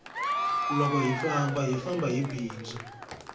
loko hi famba hi famba hi bindzu